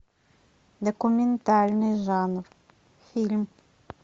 документальный жанр фильм